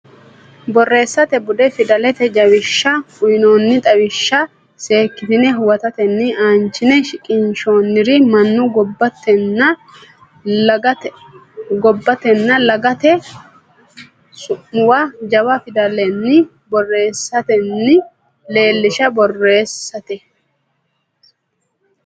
Borreessate Bude Fidalete Jawishsha uynoonni xawishsha seekkitine huwattine aanchine shiqqinshoonnire mannu gobbatenna laggate su muwa jawa fidallanni borreessitine leellishshe Borreessate.